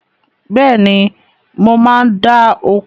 Bẹ́ẹ̀ni, mo máa ń dáa oko